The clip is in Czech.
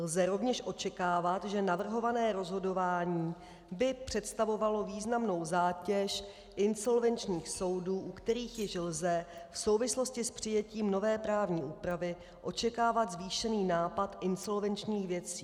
Lze rovněž očekávat, že navrhované rozhodování by představovalo významnou zátěž insolvenčních soudů, u kterých již lze v souvislosti s přijetím nové právní úpravy očekávat zvýšený nápad insolvenčních věcí.